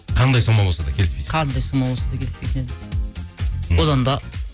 қандай сома болса да келіспейсің қандай сома болса да келіспейтін едім мхм одан да